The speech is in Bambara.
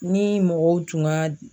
Ni mɔgɔw tun ka